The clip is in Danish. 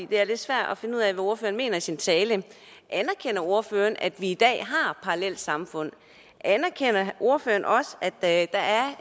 det er lidt svært at finde ud af hvad ordføreren mener i sin tale anerkender ordføreren at vi i dag har parallelsamfund anerkender ordføreren også at